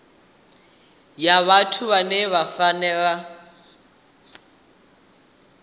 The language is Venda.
ya vhathu vhane vha fanela